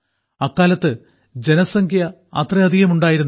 അക്കാലത്ത് ജനസംഖ്യ അത്രയധികം ഉണ്ടായിരുന്നില്ല